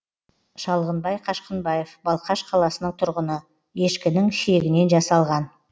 шалғынбай қашқынбаев балқаш қаласының тұрғыны ешкінің шегінен жасалған